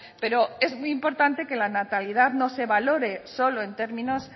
pero es muy importante que la natalidad no se valore solo en términos